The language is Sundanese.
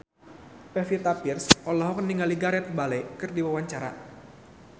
Pevita Pearce olohok ningali Gareth Bale keur diwawancara